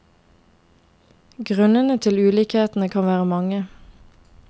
Grunnene til ulikhetene kan være mange.